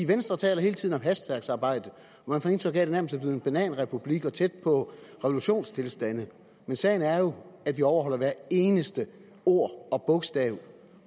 venstre taler hele tiden om et hastværksarbejde og man får indtryk af at det nærmest en bananrepublik og tæt på en revolutionstilstand men sagen er jo at vi overholder hvert eneste ord og bogstav